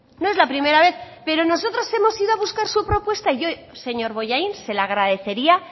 no es la primera vez pero nosotros hemos ido a buscar su propuesta y yo señor bollain se le agradecería